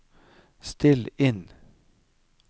still inn